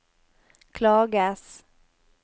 klages